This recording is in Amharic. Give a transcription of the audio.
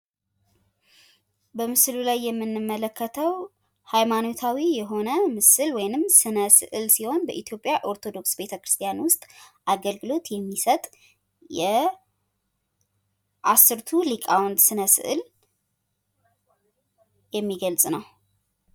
በምስሉ ላይ የምንመለከተው ሃይማኖታዊ የሆነ ምስል ሲሆን በኢትዮጵያ ኦርቶዶክስ ተዋህዶ ቤተ ክርስቲያን ውስጥ አገልግሎት የሚሠጥ የአስርቱ ሊቃውንት ስእል የሚገልጽ ነው።